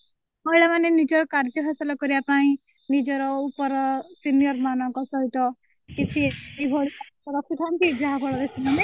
ମହିଳା ମାନେ ନିଜର କାର୍ଯ୍ୟ ହାସଲ କରିବା ପାଇଁ ନିଜର ଉପର senior ମାନଙ୍କ ସହିତ କିଛି ଏଇଭଳି ରଖିଛନ୍ତି ଯାହାଫଳରେ ସେମାନେ